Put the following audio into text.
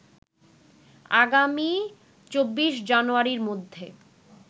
আগামী ২৪ জানুয়ারীর মধ্যে